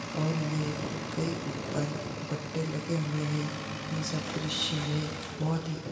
और ये कई ऊपर दुपट्टे लगे हुए है इन सब दृश्य में बहुत ही --